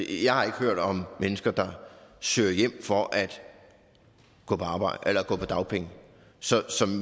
jeg har ikke hørt om mennesker der søger hjem for at gå på dagpenge så